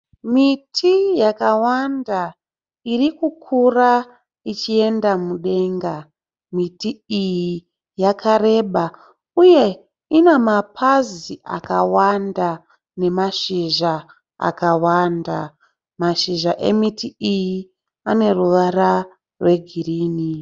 Miti yakawanda irikukura ichienda mudenga. Miti iyi yakareba uye ina mapazi akawanda nemashizha akawanda. Mashizha emiti iyi ane ruvara rwegirini.